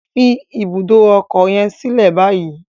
Fi ibùdó ọkọ yen silẹ bayi!